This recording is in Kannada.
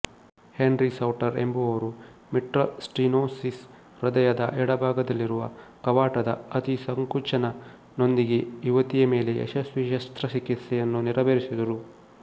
ಹೆನ್ರಿ ಸೌಟರ್ ಎಂಬುವವರು ಮಿಟ್ರಲ್ ಸ್ಟಿನೋಸಿಸ್ ಹೃದಯದ ಎಡಭಾಗದಲ್ಲಿರುವ ಕವಾಟದ ಅತಿಸಂಕೋಚನ ನೊಂದಿಗೆ ಯುವತಿಯ ಮೇಲೆ ಯಶಸ್ವಿ ಶಸ್ತ್ರಚಿಕಿತ್ಸೆಯನ್ನು ನೆರವೇರಿಸಿದರು